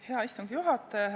Hea istungi juhataja!